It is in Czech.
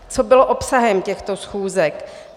Co bylo obsahem těchto schůzek.